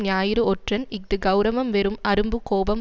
ஞாயிறு ஒற்றன் இஃது கெளரவம் வெறும் அரும்பு கோபம்